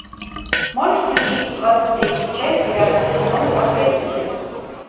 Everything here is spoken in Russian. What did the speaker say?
можешь включить двадцать третью часть девятого сезона последователи